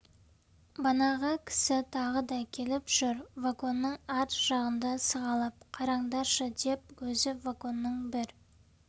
банағы кісі тағы да келіп жүр вагонның арт жағында сығалап қараңдаршы деп өзі вагонның бір